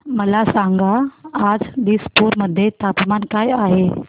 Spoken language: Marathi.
मला सांगा आज दिसपूर मध्ये तापमान काय आहे